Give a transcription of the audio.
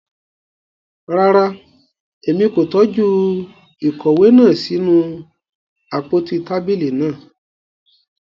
Rara, Èmí ko tọju ìkòwé náà sí inú àpótí tábìlì náà